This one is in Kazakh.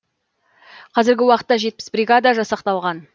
қазіргі уақытта жетпіс бригада жасақталған